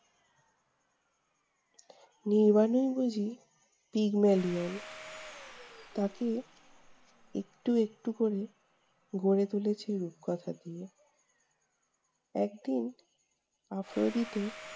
নির্বাণের বুঝি pygmalion তাকে একটু একটু করে গড়ে তুলেছে রূপকথা দিয়ে। একদিন আফ্রোদিতে